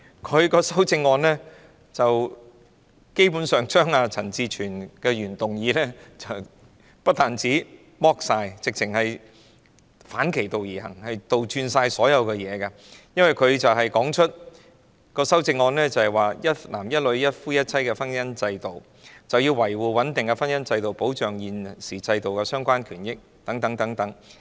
她的修正案基本上將陳志全議員的原議案不但徹底刪改，簡直是反其道而行，將一切倒轉，因為她的修正案是尊重一男一女、一夫一妻的婚姻制度，要維護穩定的婚姻制度及保障現行制度下的相關權益等。